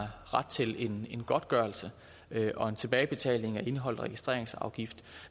ret til en godtgørelse og en tilbagebetaling af indeholdt registreringsafgift